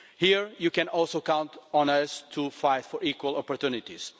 Here, you can also count on us to fight for equal opportunities.